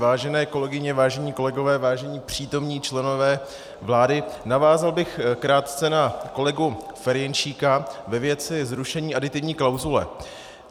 Vážené kolegyně, vážení kolegové, vážení přítomní členové vlády, navázal bych krátce na kolegu Ferjenčíka ve věci zrušení aditivní klauzule.